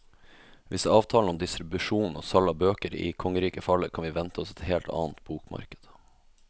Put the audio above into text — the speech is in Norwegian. Hvis avtalen om distribusjon og salg av bøker i kongeriket faller, kan vi vente oss et helt annet bokmarked.